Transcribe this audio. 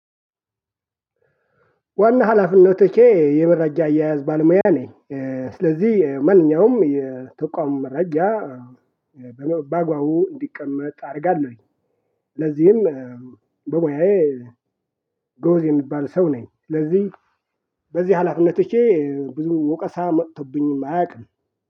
ዋና ሀላፊነቶቼ የመረጃ አያያዝ ባልሙያ ነኝ። ስለዚህ ማንኛውም የተቋሙ መረጃ። በአግባቡ እንዲቀመጥ አደርጋለሁኝ። ለዚህም በሙያዬ ጎበዝ የሚባል ሰው ነኝ። ለዚህ በዚህ አላፊነቶቼ ብዙ ወቀሳ መጥቶብኝ አያውቅም